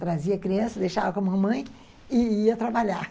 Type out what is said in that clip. Trazia criança, deixava com a mamãe e ia trabalhar.